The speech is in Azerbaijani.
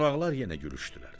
Qonaqlar yenə gülüşdülər.